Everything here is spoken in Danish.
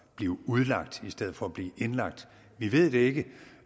blive udlagt i stedet for at blive indlagt vi ved det ikke